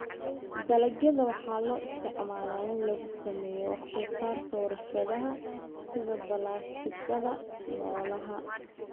Dalagyada waxaa loo isticmaalaa in lagu sameeyo wax soo saarka warshadaha sida balaastikada noolaha.